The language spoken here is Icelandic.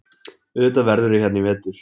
Auðvitað verðurðu hérna í vetur.